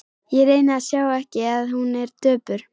Ég reyni að sjá ekki að hún er döpur.